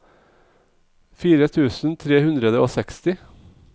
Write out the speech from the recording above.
fire tusen tre hundre og seksti